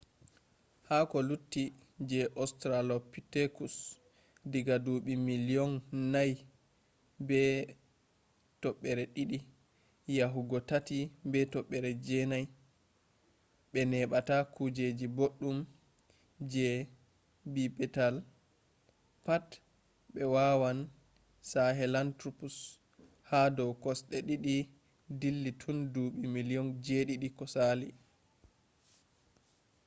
ha ko lutti je ostralopitekus diga duuɓi miliyon 4.2 yahugo 3.9 ɓe heɓata kuejeji boɗɗum je bipedal pat be wawan sahelantropus ha dow kosɗe ɗiɗi dilli tun duuɓi miliyon 7 sali